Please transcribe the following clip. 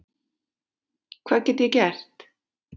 Hvað get ég gert?